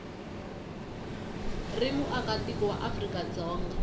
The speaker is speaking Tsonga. ri muakatiko wa afrika dzonga